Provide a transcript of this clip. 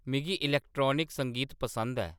मिगी इलैक्ट्रानिक संगीत पसंद ऐ